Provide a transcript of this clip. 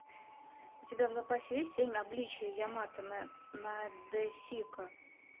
у тебя в запасе есть семь обличий ямато надэсико